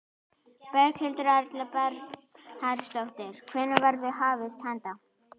Berghildur Erla Bernharðsdóttir: Hvenær verður hafist handa?